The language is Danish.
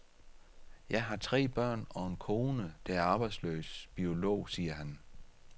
Jeg har tre børn og en kone, der er arbejdsløs biolog, siger han.